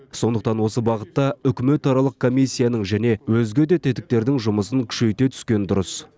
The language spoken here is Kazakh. сондықтан осы бағытта үкіметаралық комиссияның және өзге де тетіктердің жұмысын күшейте түскен дұрыс